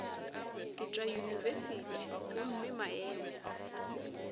ke tšwa yunibesithing gomme maemo